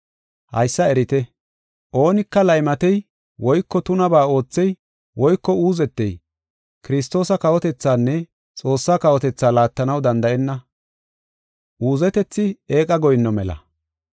Haysa erite; oonika laymatey woyko tunabaa oothey woyko uuzetey Kiristoosa kawotethaanne Xoossaa kawotethaa laattanaw danda7enna. Uuzetethi eeqa goyinno mela.